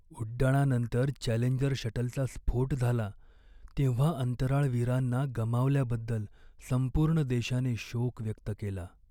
उड्डाणानंतर Challenger शटलचा स्फोट झाला तेव्हा अंतराळवीरांना गमावल्याबद्दल संपूर्ण देशाने शोक व्यक्त केला.